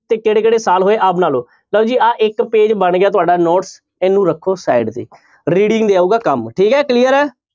ਤੇ ਕਿਹੜੇ ਕਿਹੜੇ ਸਾਲ ਹੋਏ ਆ ਆਹ ਬਣਾ ਲਓ ਲਓ ਜੀ ਆਹ ਇੱਕ page ਬਣ ਗਿਆ ਤੁਹਾਡਾ note ਇਹਨੂੰ ਰੱਖੋ side ਤੇ reading ਦੇ ਆਊਗਾ ਕੰਮ ਠੀਕ ਹੈ clear ਹੈ।